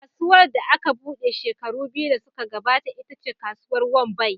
Kasuwar da aka buɗe shekaru biyu da suka gabata ita ce Kasuwar Wambai.